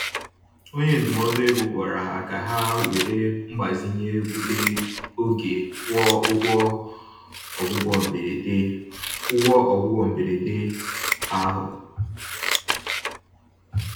Onye ndụmọdụ ego gwara ha ka ha were mgbazinye obere oge kwụọ ụgwọ ọgwụgwọ mberede ụgwọ ọgwụgwọ mberede ahụ